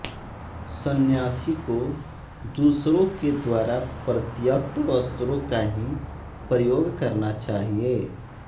संन्यासी को दूसरों के द्वारा परित्यक्त वस्त्रों का ही प्रयोग करना चाहिए